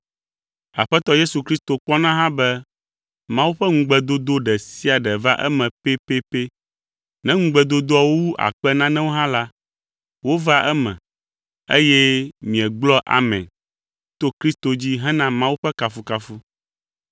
Aƒetɔ Yesu Kristo kpɔna hã be Mawu ƒe ŋugbedodo ɖe sia ɖe va eme pɛpɛpɛ. Ne ŋugbedodoawo wu akpe nanewo hã la, wovaa eme, eye miegblɔa “Amen” to Kristo dzi hena Mawu ƒe kafukafu.